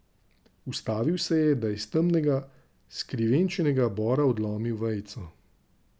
Ustavil se je, da je s temnega, skrivenčenega bora odlomil vejico.